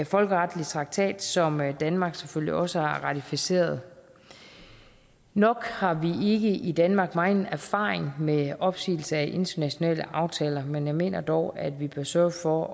folkeretlig traktat som danmark selvfølgelig også har ratificeret nok har vi ikke i danmark megen erfaring med opsigelse af internationale aftaler men jeg mener dog at vi bør sørge for